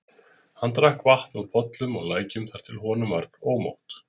Hann drakk vatn úr pollum og lækjum þar til honum varð ómótt.